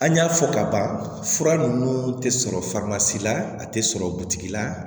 An y'a fɔ ka ban fura ninnu tɛ sɔrɔ faama si la a tɛ sɔrɔ butigi la